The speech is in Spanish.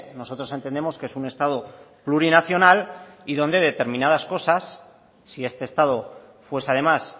nosotros entendemos que es un estado plurinacional y donde determinadas cosas si este estado fuese además